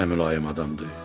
Nə mülayim adamdır!